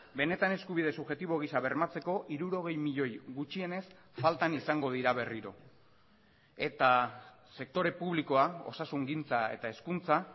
famatuak benetan eskubide subjektibo giza bermatzeko hirurogei milioi gutxienez faltan izango dira berriro eta sektore publikoa osasungintza eta